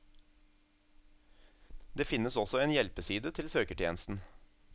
Det finnes også en hjelpeside til søketjenesten.